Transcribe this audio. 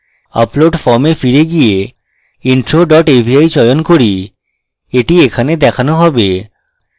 upload form এ ফিরে গিয়ে intro dot avi চয়ন করি এটি এখানে দেখানো হবে